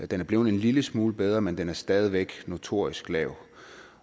den er blevet en lille smule bedre men den er stadig væk notorisk lav